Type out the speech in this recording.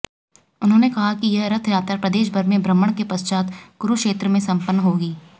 उन्होंने कहा कि यह रथयात्रा प्रदेशभर में भ्रमण के पश्चात कुरुक्षेत्र में संपन्न होगी